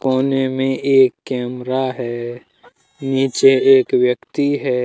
कोने में एक कैमरा है नीचे में एक व्यक्ति है।